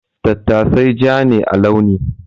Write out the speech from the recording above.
Tattasai ja ne a launi.